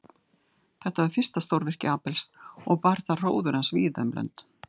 Þetta var fyrsta stórvirki Abels og bar það hróður hans víða um lönd.